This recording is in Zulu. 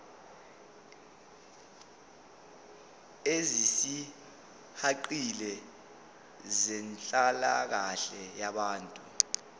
ezisihaqile zenhlalakahle yabantu